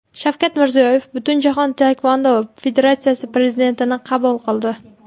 Shavkat Mirziyoyev Butunjahon taekvondo federatsiyasi prezidentini qabul qildi.